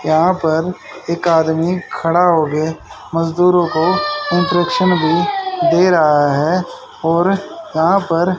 यहां पर एक आदमी खड़ा हो के मजदूरों को इंटरेक्शन भी दे रहा है और यहां पर--